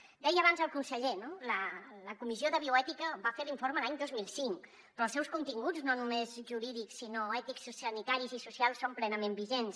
ho deia abans el conseller no la comissió de bioètica va fer l’informe l’any dos mil cinc però els seus continguts no només jurídics sinó ètics sanitaris i socials són plenament vigents